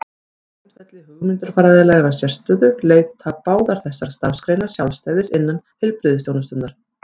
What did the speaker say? Á grundvelli hugmyndafræðilegrar sérstöðu leita báðar þessar starfsgreinar sjálfstæðis innan heilbrigðisþjónustunnar.